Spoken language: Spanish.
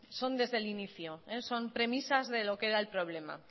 son desde el inicio son premisas de lo que era el problema